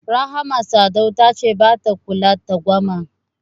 Rahama Sadau ta ce bata kula twangwama.